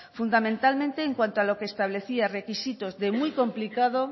fundamentalmente en lo que establecía requisitos de muy complicado